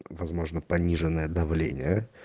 возможно пониженное давление